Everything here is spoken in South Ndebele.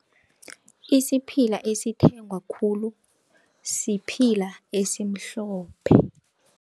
Isiphila esithengwa khulu siphila esimhlophe.